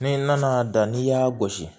Ni n nana da n'i y'a gosi